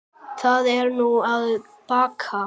Það er nú að baki.